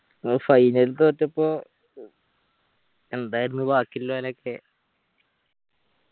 ഓ final തോറ്റപ്പോ എന്തായിരുന്നു ബാക്കിയില്ല ഓലൊക്കെ